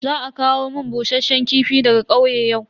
Za a kawo mun bushasshen kifi daga kauye yau.